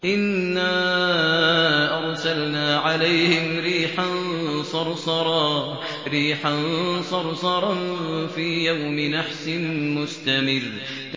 إِنَّا أَرْسَلْنَا عَلَيْهِمْ رِيحًا صَرْصَرًا فِي يَوْمِ نَحْسٍ مُّسْتَمِرٍّ